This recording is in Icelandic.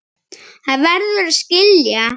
Hann verður að skilja.